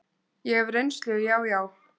Ég hef reynslu, já, já.